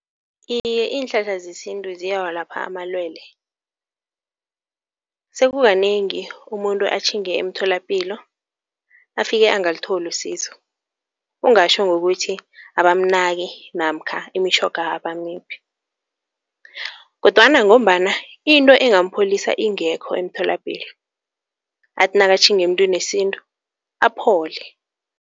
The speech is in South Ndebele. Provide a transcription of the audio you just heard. Iye iinhlahla zesintu ziyawalapha amalwele. Sekukanengi umuntu atjhinge emtholapilo afike angalitholi usizo. Kungatjho ngokuthi abamnaki namkha imitjhoga abamiphi kodwana ngombana into engampholisa ingekho emtholapilo. Athi nakatjhinge muntwini wesintu aphole.